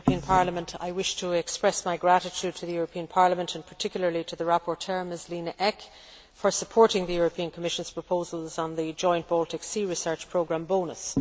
Mr President, I wish to express my gratitude to the European Parliament and particularly to the rapporteur, Ms Lena Ek, for supporting the European Commission's proposals on the joint Baltic Sea research programme, BONUS.